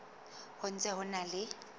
ho ntse ho na le